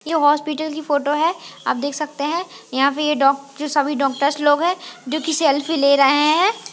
ये हॉस्पिटल की फोटो है आप देख सकते हैं यहां पर यह डॉक्टर सभी डॉक्टर लोग है जो किसी सेल्फी ले रहे हैं।